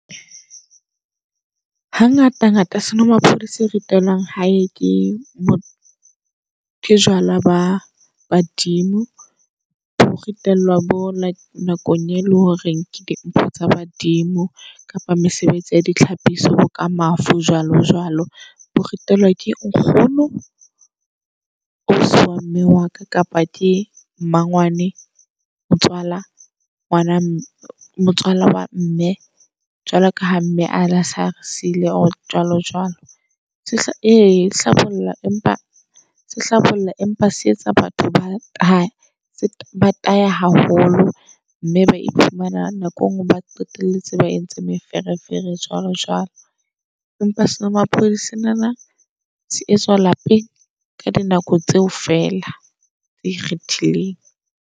Ha ngata ngata senomaphodi se ritelwang hae ke ke jwala ba badimo. Bo ritelwa bo nakong e leng hore ke dimpho tsa badimo, kapa mesebetsi ya ditlhapi so, ka mafu, jwalo jwalo. Bo ritelwa ke nkgono, ausi wa mme waka. Kapa ke mmangwanae motswala ngwana mme motswala wa mme, jwalo kaha mme ane ase are siile jwalo jwalo. E hlabollang empa se hlabollang empa se etsa batho ba tahe ba tahe haholo. Mme ba iphumana nako engwe ba qetelletse ba entse meferefere jwalo jwalo. Empa senomaphodi senana se etswa lapeng ka dinako tseo fela tse ikgethileng.